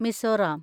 Mizoram